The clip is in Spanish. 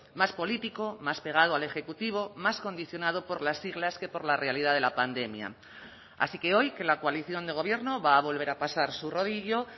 más político más pegado al ejecutivo más condicionado por las siglas que por la realidad de la pandemia así que hoy que la coalición de gobierno va a volver a pasar su rodillo